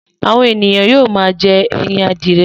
Àwọn ènìyàn yóò máa jẹ́ ẹyin adìye.